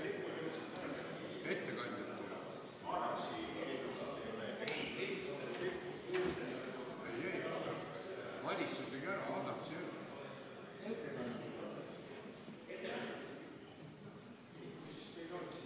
Jätkame kell 18.11.